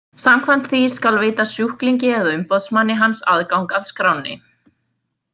Samkvæmt því skal veita sjúklingi eða umboðsmanni hans aðgang að skránni.